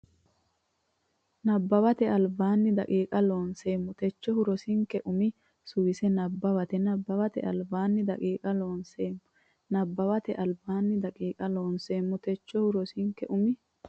Nabbawate Albaanni daqiiqa Loonseemmo techohu rosinke umi suwise nabbawate Nabbawate Albaanni daqiiqa Loonseemmo Nabbawate Albaanni daqiiqa Loonseemmo techohu rosinke umi.